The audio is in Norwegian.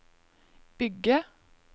bygge